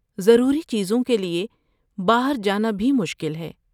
ضروری چیزوں کے لیے باہر جانا بھی مشکل ہے۔